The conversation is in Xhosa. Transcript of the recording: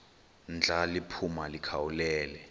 ndla liphuma likhawulele